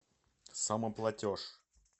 самоплатеж